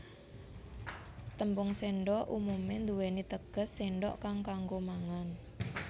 Tembung séndhok umumé nduwèni teges séndhok kang kanggo mangan